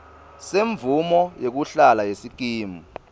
semvumo yekuhlala yesikimu